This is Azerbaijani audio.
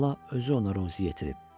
Allah özü ona ruzi yetirib.